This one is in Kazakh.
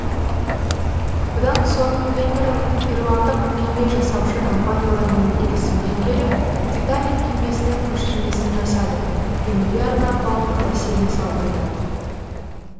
бұдан соң кэмерон ирландық кеме жасаушы компаниялармен келісімге келіп титаник кемесінің көшірмесін жасады кемеге арнап алып бассейн салдырды